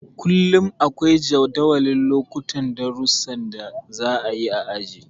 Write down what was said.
Kullum akwai jadawalin lokutan darusan da za a yi a aji.